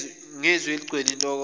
ngezwi eligcwele intokozo